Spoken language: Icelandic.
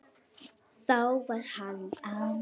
Þá var hann afi.